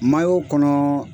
Maa y'o kɔnɔɔ